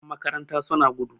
Yanmakaranta suna gudu